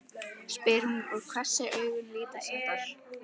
spyr hún og hvessir augun lítilsháttar.